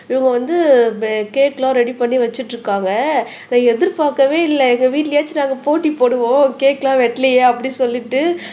இவங்க வந்து கேக் எல்லாம் ரெடி பண்ணி வச்சுட்டிருக்காங்க நான் எதிர்பார்க்கவே இல்லை எங்க வீட்டுலயாச்சும் நாங்க போட்டி போடுவோம் கேக் எல்லாம் வெட்டலையே அப்படின்னு சொல்லிட்டு